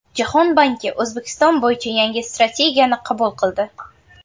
Jahon banki O‘zbekiston bo‘yicha yangi strategiyani qabul qildi.